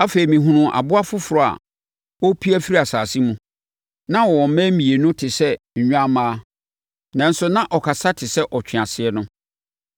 Afei, mehunuu aboa foforɔ a ɔrepue afiri asase mu. Na ɔwɔ mmɛn mmienu te sɛ nnwammaa, nanso na ɔkasa te sɛ ɔtweaseɛ no.